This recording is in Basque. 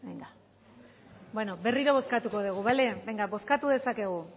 bueno berriro bozkatuko dugu bozkatu dezakegu